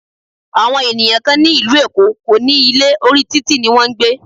Àwọn ènìyàn kán ní ìlú Èkó kò ní ilé, orí títì ní wọn ń gbé.